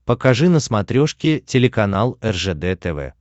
покажи на смотрешке телеканал ржд тв